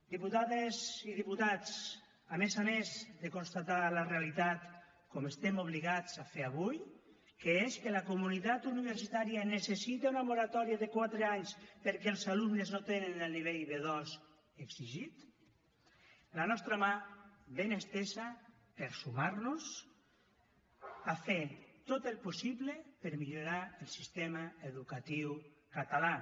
diputades i diputats a més a més de constatar la realitat com estem obligats a fer avui que és que la comunitat universitària necessita una moratòria de quatre anys perquè els alumnes no tenen el nivell b2 exigit la nostra mà ben estesa per sumar nos a fer tot el possible per millorar el sistema educatiu català